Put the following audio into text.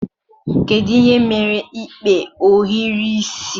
Kedu ihe mere ikpe ohiri isi?